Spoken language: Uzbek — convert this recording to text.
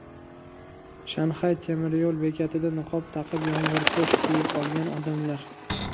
Shanxay temiryo‘l bekatida niqob taqib, yomg‘irpo‘sh kiyib olgan odamlar.